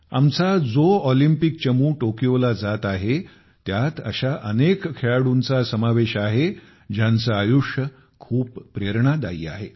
आमचा जो ऑलिम्पिक चमू टोकियोला जात आहे त्यात अशा अनेक खेळाडूंचा समावेश आहे ज्यांचे आयुष्य खूप प्रेरणादायी आहे